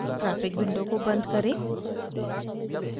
graphic window को बंद करें